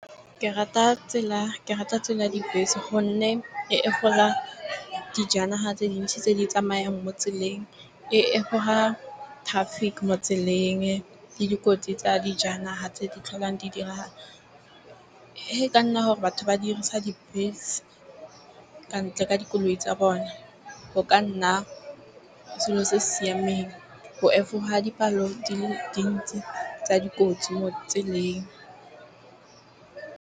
Ke rata tsela dibese gonne e gola dijanaga tse dintsi tse di tsamayang mo tseleng e goga traffic mo tseleng le dikotsi tsa dijanaga tse di tlholang di dirang e ka nna gore batho ba dirisa dibese ka ntle ka dikoloi tsa bone go ka nna selo se siameng bo fa ha dipalo di le dintsi tsa dikotsi mo tseleng.